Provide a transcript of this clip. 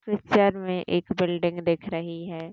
Picture में एक building दिख रही है।